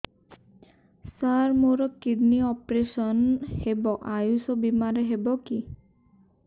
ସାର ମୋର kidney operation ହେବ ଆୟୁଷ ବିମାରେ ହେବ କି